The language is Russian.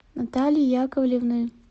натальи яковлевны